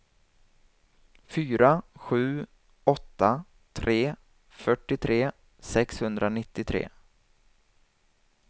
fyra sju åtta tre fyrtiotre sexhundranittiotre